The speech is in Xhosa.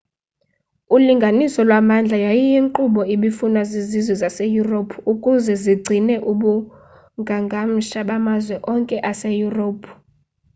ulinganiso lwamandla yayiyinkqubo ebifunwa zizizwe zase-europe ukuze zigcine ubungangamsha bamazwe onke ase-europe